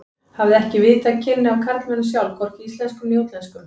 Hafði ekki haft víðtæk kynni af karlmönnum sjálf, hvorki íslenskum né útlenskum.